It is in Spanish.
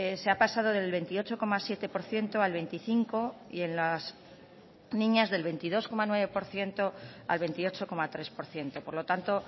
se ha pasado del veintiocho coma siete por ciento al veinticinco y en las niñas del veintidós coma nueve por ciento al veintiocho coma tres por ciento por lo tanto